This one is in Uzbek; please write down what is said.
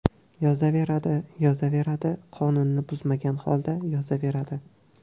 Yozaveradi, yozaveradi, qonunni buzmagan holda yozaveradi.